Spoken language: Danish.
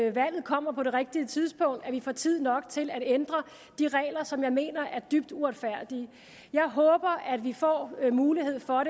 at valget kommer på det rigtige tidspunkt at vi får tid nok til at ændre de regler som jeg mener er dybt uretfærdige jeg håber vi får mulighed for